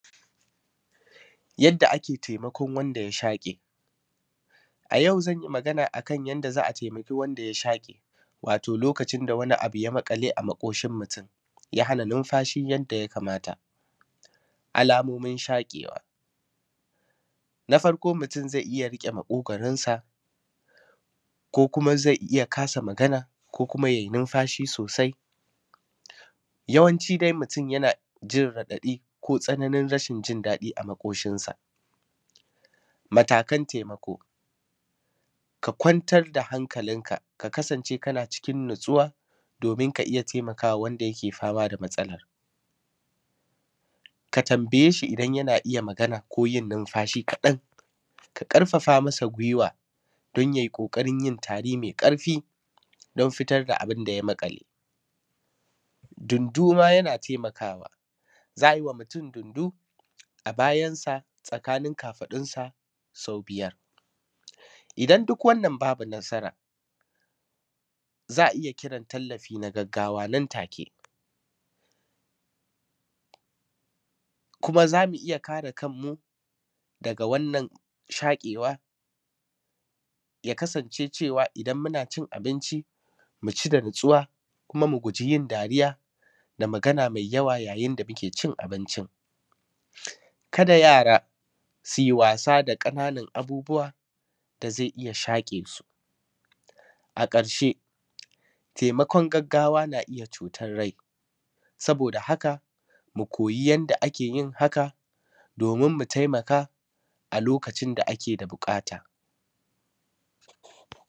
Yadda ake taimakon wanda ya shaƙe, A yau zan yi magana ne a kan taimakon wanda ya shaƙe, Wato lokacin da wani abu ya maƙale a maƙoshin mutum, Ya hana numfashi yadda ya kamata, Alamomin shaƙewa na farko mutum zai iya riƙe maƙogwaonsa, ko kuma zai iya kasa magana ko kuma ya yi numfashi sosai, Yawanci dai mutum yana jin raɗaɗi ko tsananin rashin jin daɗi a maƙoshinsa, Matakan taimako ka kwantar da hankalinka ka kasance kana cikin natsuwa domin ka iya taimaka ma wanda yake fama da matsalar, Ka tambaye shi idan yana iya magana ko yin numfashi, ka ɗan ƙarfafa masa gwiwwa don ya yi ƙoƙarin yin tari mai ƙarfi don fitar da abin da ya maƙale, Dundu ma yana taimakawa za a yi ma mutum dundu a bayansa tsakanin kafaɗunsa sau biyar, Idan duk wannan bai yi ba babu matsala za a iya kiran tallafin gaggawa, Nan take kuma zamu iya kare kanmu daga wannan shaƙewa ya kasance cewa idan muna cin abinci mu ci da natsuwa, kuma mu guji yin dariya da magana mai yawa yayin da muke cin abinci, Kada yara su yi wasa da ƙananan abubuwa da zai iya shaƙe su, A ƙarshe taimakon gaggawa na iya ceton rai, Saboda haka mu koyi yadda ake yin haka domin mu taimaka a lokacin da ake da buƙata.